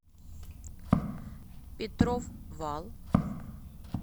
петров вал